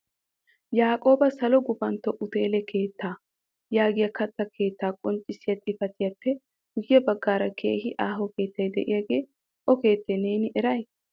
yaaqqoba salo gupantto utteele keettaa yaagiya katta keetta qonccissiya xifatiyappe guyye bagaara keehi aaho keettay de'iagee o keettee neeni eray?